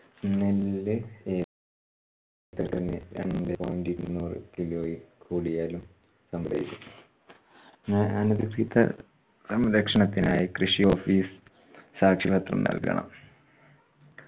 നെല്ല് ഏക്കറിന് രണ്ടേ point ഇരുന്നൂറ് kilo ഇൽ കൂടിയാലും അനധികൃത സംരക്ഷണത്തിനായ് കൃഷി office സാക്ഷ്യപത്രം നൽകണം